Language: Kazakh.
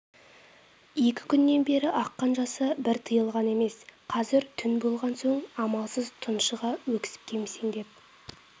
екі күннен бері аққан жасы бір тиылған емес қазір түн болған соң амалсыз тұншыға өксіп кемсеңдеп